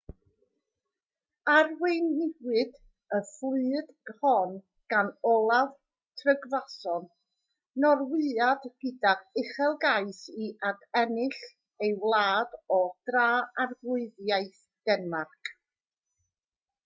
arweiniwyd y fflyd hon gan olaf trygvasson norwyad gydag uchelgais i adennill ei wlad o dra-arglwyddiaeth denmarc